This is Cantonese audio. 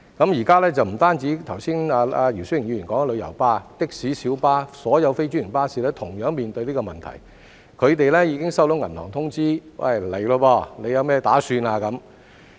現在不止是剛才姚思榮議員說的旅遊巴，的士、小巴、所有非專營巴士同樣面對這個問題，他們已經收到銀行通知："是時候了，你有甚麼打算？